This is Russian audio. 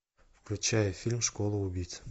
включай фильм школа убийц